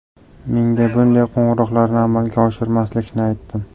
Menga bunday qo‘ng‘iroqlarni amalga oshirmaslikni aytdim.